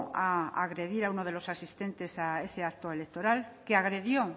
a agredir a uno de los asistentes a ese acto electoral que agredió